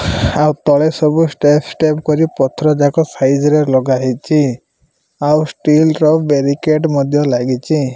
ଆ ତଳେ ସବୁ step step କରି ପଥର ଯାକ ସାଇଜ଼ ରେ ଲଗାହେଇଛି ଆଉ ଷ୍ଟିଲ ର ବ୍ୟାରିକେଟ ମଧ୍ୟ ଲାଗିଚି।